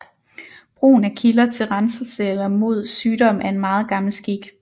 Brugen af kilder til renselse eller mod sygdom er en meget gammel skik